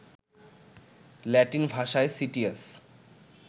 Latin ভাষায় citius